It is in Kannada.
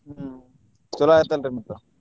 ಹ್ಮ್ ಚೊಲೋ ಆತ್ ಅಲ್ರಿ ಮತ್ತ.